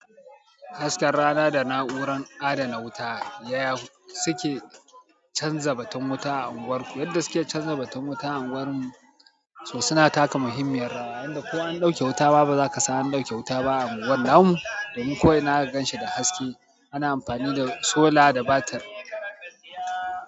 Hasken rana da na'uran adana wuta yaya suke canza batun wuta a unguwarku? Yadda suke canza batun wuta a unguwar mu, so suna taka muhimmiyar rawa. Yanda ko an ɗauke wuta ma, bazaka san an ɗauke wuta ba a unguwar. Namu, domin ko'ina zaka ganshi da haske, ana amfani da sola da batir.